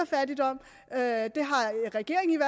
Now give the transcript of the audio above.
fattigdom at regeringen